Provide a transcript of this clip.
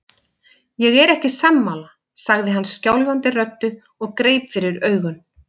Ég er ekki sammála, sagði hann skjálfandi röddu og greip fyrir augun.